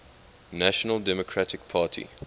national democratic party